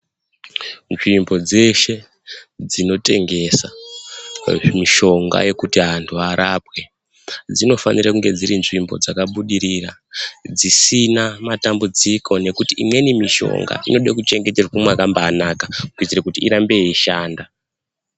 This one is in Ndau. Nzvimbo dzeshe dzinotengesa mishonga yekuti antu arapwe dzinofanire kunge dziri Nzvimbo dzakabudirira dzisina matambudziko ngokuti imweni mushonga inode kuchengeterwe mwakambaanaka kuitire kuti irambe yeishanda.